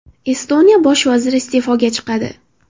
Estoniya bosh vaziri iste’foga chiqadi.